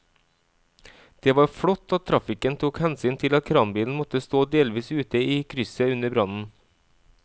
Det var flott at trafikken tok hensyn til at kranbilen måtte stå delvis ute i krysset under brannen.